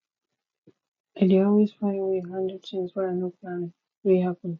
i dey always find way handle tins wey i no plan wey happen